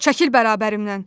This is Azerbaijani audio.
Çəkil bərabərimdən.